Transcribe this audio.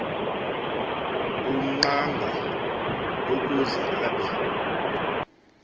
ungqanga ukuze abe